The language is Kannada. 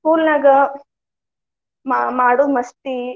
School ನ್ಯಾಗ ಮಾ~ ಮಾಡೊ ಮಸ್ತಿ.